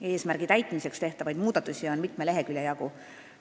Eesmärgi saavutamiseks tehtavaid muudatusi on mitme lehekülje jagu.